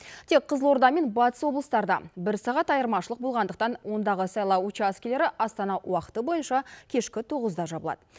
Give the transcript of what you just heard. тек қызылорда мен батыс облыстарда бір сағат айырмашылық болғандықтан ондағы сайлау учаскелері астана уақыты бойынша кешкі тоғызда жабылады